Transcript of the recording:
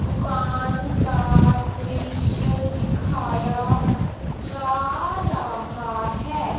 दुकान का दृश्य दिखाया जा रहा है।